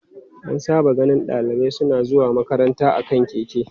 An saba ganin dalibai suna zuwa makaranta a kan keke.